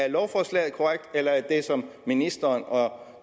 i lovforslaget korrekt eller er det som ministeren og